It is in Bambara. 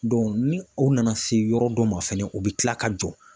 ni o nana se yɔrɔ dɔ ma fɛnɛ o bɛ tila ka jɔ.